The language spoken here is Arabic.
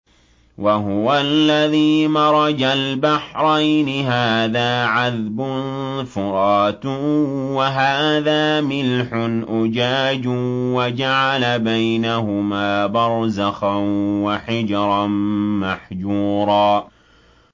۞ وَهُوَ الَّذِي مَرَجَ الْبَحْرَيْنِ هَٰذَا عَذْبٌ فُرَاتٌ وَهَٰذَا مِلْحٌ أُجَاجٌ وَجَعَلَ بَيْنَهُمَا بَرْزَخًا وَحِجْرًا مَّحْجُورًا